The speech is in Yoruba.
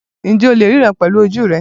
Ǹjẹ́ o lè ríran pẹ̀lú ojú rẹ?